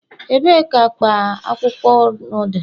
Ebee ka akpa akwụkwọ ur dị